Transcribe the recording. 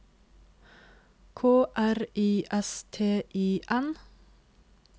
K R I S T I N